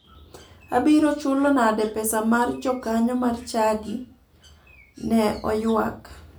"Abiro chulo nade pesa mar jokanyo mar chadi" ne oywak.